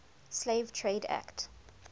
slave trade act